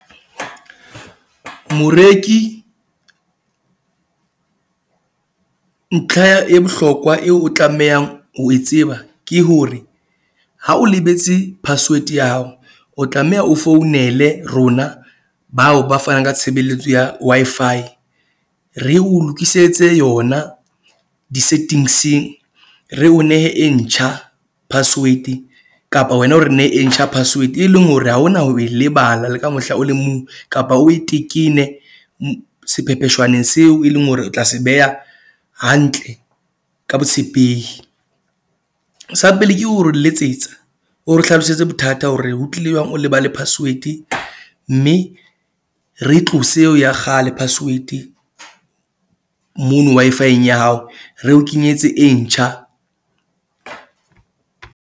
Moreki ntlha e bohlokwa eo o tlamehang ho e tseba ke hore ha o lebetse password ya hao. O tlameha o founele rona bao ba fanang ka tshebeletso ya Wi-Fi. Re o lokisetse yona di-settings. Re o nehe e ntjha password kapa wena o re nehe e ntjha password, e leng hore, ha hona ho e lebala le ka mohla o le mong kapa o e tekene sephepheshwaneng seo e leng hore o tla se beha hantle ka botshepehi. Sa pele ke ho re letsetsa, o re hlalosetse bothata hore ho tlile jwang o lebale password. Mme re tlose eo ya kgale password mono Wi-Fi-eng ya hao. Re o kenyetse e ntjha.